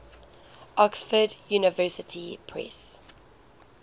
oxford university press